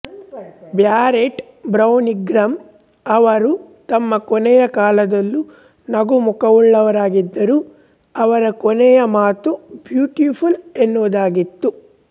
barrel ಬ್ರೌನಿಂಗ್ರ ಅವರು ತಮ್ಮ ಕೊನೆಯ ಕಾಲದಲ್ಲು ನಗು ಮುಕವುಳ್ಳವರಾಗಿದ್ದರು ಅವರ ಕೊನೆಯ ಮಾತು ಬ್ಯೂಟಿಫುಲ್ ಎನ್ನುವುದಾಗಿತ್ತು